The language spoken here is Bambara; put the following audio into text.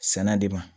Sɛnɛ de ma